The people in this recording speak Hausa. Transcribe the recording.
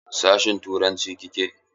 Sashin turanci kike?